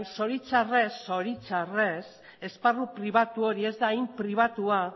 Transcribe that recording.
zoritxarrez esparru pribatu hori ez da hain pribatua